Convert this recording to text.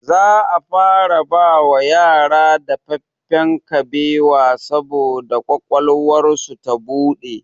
Za a fara bawa yara dafaffen kabewa saboda ƙwaƙwalwarsu ta buɗe